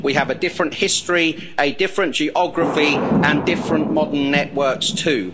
We have a different history, a different geography and different modern networks too.